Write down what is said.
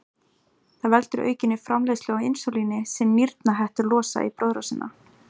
Það veldur aukinni framleiðslu á insúlíni sem nýrnahettur losa í blóðrásina.